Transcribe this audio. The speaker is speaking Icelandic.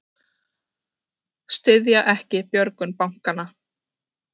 Styðja ekki björgun bankanna